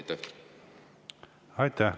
Aitäh!